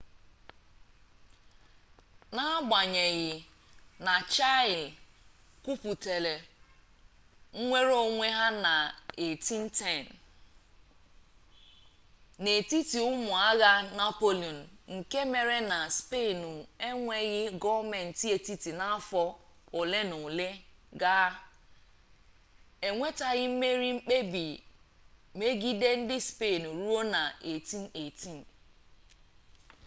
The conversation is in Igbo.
n’agbanyeghị na chile kwupụtara nnwereonwe ha na 1810 n’etiti ụmụ agha napoleon nke mere na spenụ enweghị gọọmentị etiti n'afọ olenaole gaa e nwetaghị mmerị mkpebi megide ndị spenụ ruo na 1818